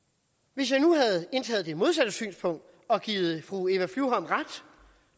hvis jeg nu havde indtaget det modsatte synspunkt og givet fru eva flyvholm ret